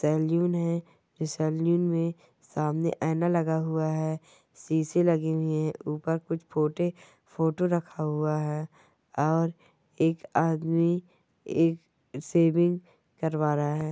तर्जुन हे। में सामने आना लगा हुआ है शीशे लगी हुई है ऊपर कुछ फोटे फोटो रखा हुआ है। और एक आदमी एक सेविंग करवा रहा है।